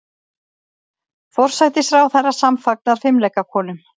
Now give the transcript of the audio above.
Forsætisráðherra samfagnar fimleikakonum